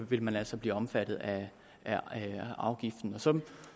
vil man altså blive omfattet af afgiften så